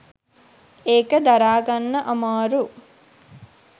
ඒක දරා ගන්න අමාරු